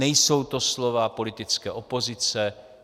Nejsou to slova politické opozice.